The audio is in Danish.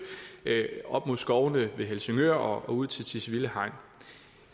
op mod skovene ved helsingør og ud til tisvilde hegn